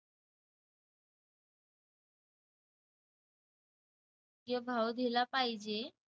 योग्य भाव दिला पाहिजे.